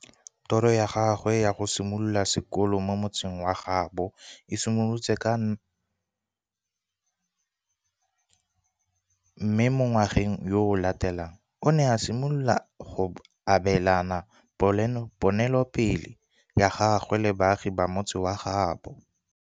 Toro ya gagwe ya go simolola sekolo mo motseng wa gaabo e simolotse ka 1988, mme mo ngwageng yo o latelang o ne a simolola go abelana ponelopele ya gagwe le baagi ba motse wa gaabo.